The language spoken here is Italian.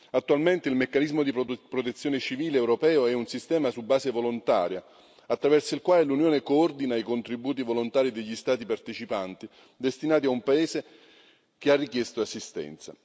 Attualmente il meccanismo di protezione civile europeo è un sistema su base volontaria, attraverso il quale l'Unione coordina i contributi volontari degli Stati partecipanti destinati a un paese che ha richiesto assistenza.